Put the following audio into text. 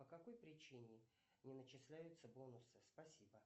по какой причине не начисляются бонусы спасибо